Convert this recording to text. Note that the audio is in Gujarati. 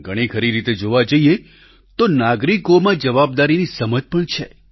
ઘણી ખરી રીતે જોવા જઈએ તો નાગરિકોમાં જવાબદારીની સમજ પણ છે